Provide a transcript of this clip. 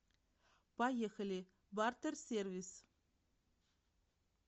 поехали бартер сервис